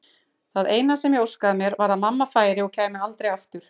Það eina sem ég óskaði mér var að mamma færi og kæmi aldrei aftur.